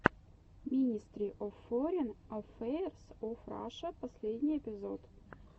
минестри оф форин аффэйрс оф раша последний эпизод